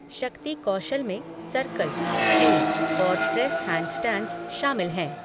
शक्ति कौशल में सर्कल, स्केल और प्रेस हैंडस्टैंड्स शामिल हैं।